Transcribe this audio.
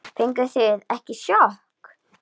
Fenguð þið ekki sjokk?